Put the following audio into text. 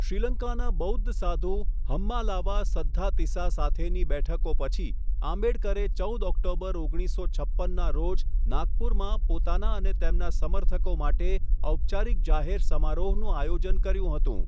શ્રીલંકાના બૌદ્ધ સાધુ હમ્માલાવા સદ્ધાતિસા સાથેની બેઠકો પછી, આંબેડકરે ચૌદ ઓક્ટોબર ઓગણીસસો છપ્પનના રોજ નાગપુરમાં પોતાના અને તેમના સમર્થકો માટે ઔપચારિક જાહેર સમારોહનું આયોજન કર્યું હતું.